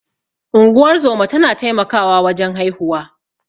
Unguwar zoma tana taimakawa wajen haihuwa.